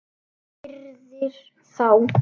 Virðir þá.